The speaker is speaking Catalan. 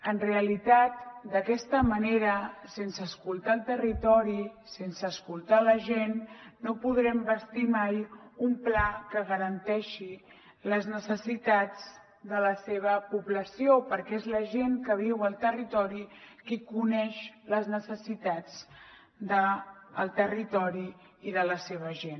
en realitat d’aquesta manera sense escoltar el territori sense escoltar la gent no podrem bastir mai un pla que garanteixi les necessitats de la seva població perquè és la gent que viu al territori qui coneix les necessitats del territori i de la seva gent